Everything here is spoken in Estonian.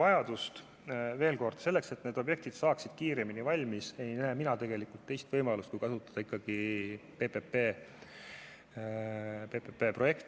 Ütlen veel kord, et selleks, et need objektid saaksid kiiremini valmis, ei näe mina tegelikult teist võimalust, kui kasutada ikkagi PPP-projekte.